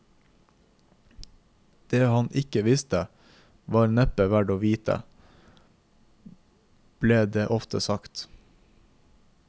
Det han ikke visste, var neppe verdt å vite, ble det ofte sagt.